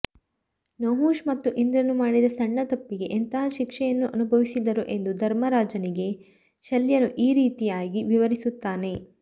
ನಹುಷ ಮತ್ತು ಇಂದ್ರನು ಮಾಡಿದ ಸಣ್ಣ ತಪ್ಪಿಗೆ ಎಂತಹ ಶಿಕ್ಷೆಯನ್ನು ಅನುಭವಿಸಿದರು ಎಂದು ಧರ್ಮರಾಜನಿಗೆ ಶಲ್ಯನು ಈ ರೀತಿಯಾಗಿ ವಿವರಿಸುತ್ತಾನೆ